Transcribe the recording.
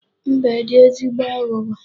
Mbe dị ezigbo aghụghọ.